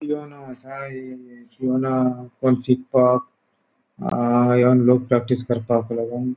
पियानो असा ए ओ पियानो कोण सीकपाक अ एवन लोक प्रैक्टिस करता